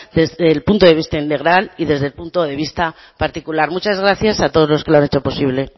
desde el punto de vista integral y desde el punto de vista particular muchas gracias a todos los que lo han hecho posible